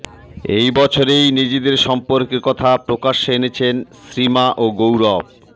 এই বছরেই নিজেদের সম্পর্কের কথা প্রকাশ্যে এনেছেন শ্রীমা ও গৌরব